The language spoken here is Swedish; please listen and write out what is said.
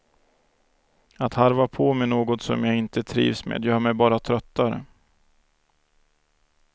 Att harva på med något som jag inte trivs med gör mig bara tröttare.